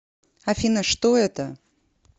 афина что это